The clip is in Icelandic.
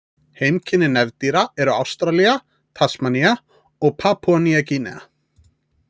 Heimkynni nefdýra eru Ástralía, Tasmanía og Papúa-Nýja Gínea.